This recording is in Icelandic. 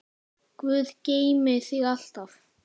Guð geymi þig alltaf.